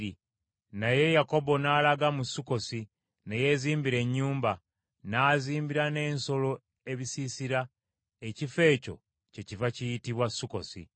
Naye Yakobo n’alaga mu Sukkosi, ne yeezimbira ennyumba, n’azimbira n’ensolo ebisiisira; ekifo ekyo kyekiva kiyitibwa Sukkosi.